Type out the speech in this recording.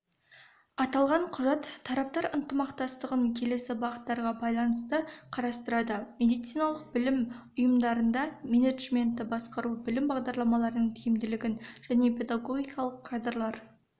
аталған құжат тараптар ынтымақтастығын келесі бағыттарға байланысты қарастырады медициналық білім ұйымдарында менеджментті жақсарту білім бағдарламарының тиімділігін және педагогикалық кадрлар